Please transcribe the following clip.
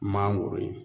Mangoro ye